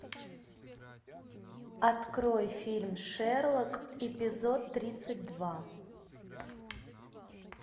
открой фильм шерлок эпизод тридцать два